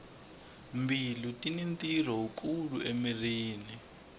mbilu tini ntirho wu kulu emirhini